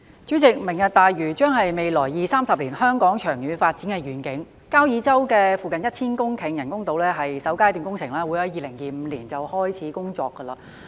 主席，"明日大嶼"將是未來二三十年香港長遠發展的願景，交椅洲附近1000公頃人工島是首階段工程，會在2025開始工作。